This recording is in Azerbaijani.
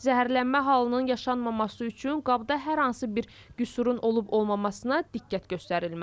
Zəhərlənmə halının yaşanmaması üçün qabda hər hansı bir qüsurun olub-olmamasına diqqət göstərilməlidir.